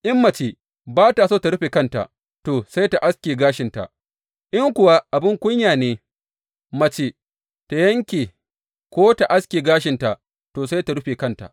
In mace ba ta so tă rufe kanta, to, sai tă aske gashinta; in kuwa abin kunya ne mace tă yanke ko tă aske gashinta, to, sai tă rufe kanta.